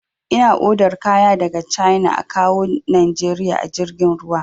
Ina odar kaya daga cana a kawwo najeriya a jirgin ruwa